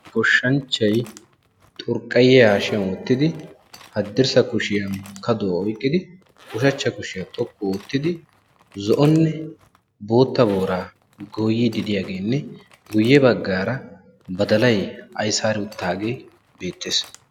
goshanchay xurqqayiya hashiyanni wottidi haddirssa kushiyan kaduwa oyqidi zo"onne bootta boora goyidi de"iyagenne guyebagarra badalay ayssari uttagee beettessi.